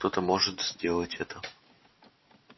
кто-то может сделать это